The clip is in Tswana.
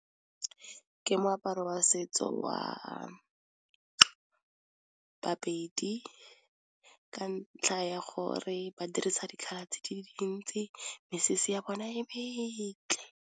Ke moaparo wa setso wa baPedi ka ntlha ya gore ba dirisa di color di le dintsi, mesese ya bona e metle.